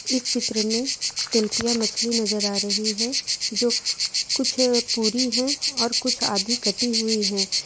इस चित्र में तिलपिया मछली नजर आ रही है जो कुछ पूरी है और कुछ आधी कटी हुई है।